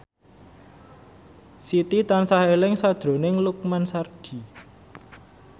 Siti tansah eling sakjroning Lukman Sardi